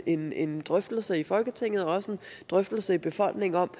en en drøftelse i folketinget og også en drøftelse i befolkningen om